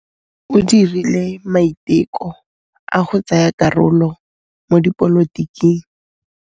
O dirile maitekô a go tsaya karolo mo dipolotiking.